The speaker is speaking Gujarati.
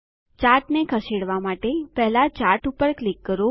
ચાર્ટને ખસેડવા માટે પહેલા ચાર્ટ પર ક્લિક કરો